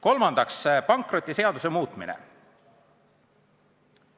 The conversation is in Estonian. Kolmandaks, pankrotiseaduse muutmine.